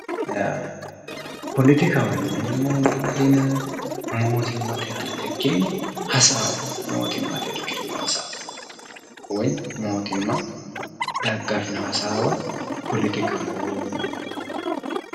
poletikaho yineemmowoyite mootimmate aana irkirino hasaawaati woyi mootimma dagafino hasawa poletikaho yineemmo .